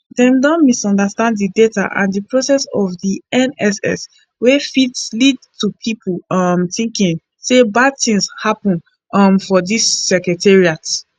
dem don misunderstand di data and di process of di nss wia fit lead to pipo um thinking say bad tins happun um for di secretariat